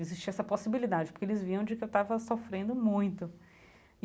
Existia essa possibilidade, porque eles viam de que eu estava sofrendo muito.